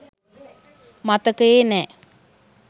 මතකයේ නෑ.